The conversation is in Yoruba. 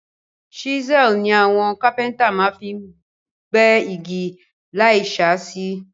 Chisel ni àwon carpenter ma fi n gbẹ́ igi láì sàsísé